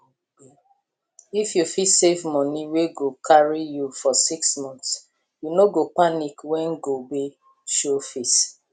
if you fit save money wey go carry you for six months you no go panic when gobe show face